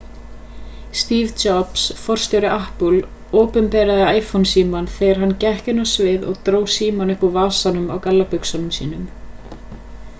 steve jobs forstjóri apple opinberaði iphone-símann þegar hann gekk inn á sviðið og dró símann upp úr vasanum á gallabuxunum sínum